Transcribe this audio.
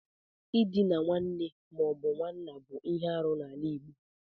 Ịdina nwanne mo but nwanna bụ ihe arụ n'ala Igbo.